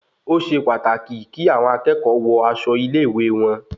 Osé pàtàkì kí àwọn akẹ́kọ̀ọ́ wọ aṣọ ilé-ìwé wọn